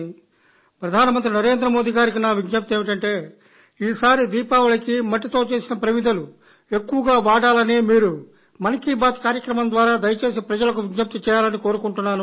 ప్రధాన మంత్రి శ్రీ నరేంద్ర మోదీ కి నా విజ్ఞప్తి ఏమిటంటే ఈసారి దీపావళికి మట్టితో చేసిన ప్రమిదలు ఎక్కువగా వాడాలని మీరు మన్ కీ బాత్ కార్యక్రమం ద్వారా దయచేసి ప్రజలకు విజ్ఞప్తి చేయాలని కోరుకుంటున్నాను